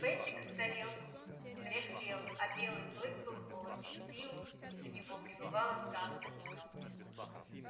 бэсик старел дряхлел а белый клык был молод и сил у него прибывало с каждым днём